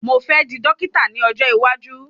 Mo fẹ́ di Dọ́kítà ní ọjọ́ iwájú.